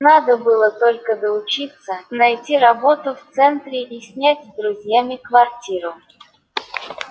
надо было только доучиться найти работу в центре и снять с друзьями квартиру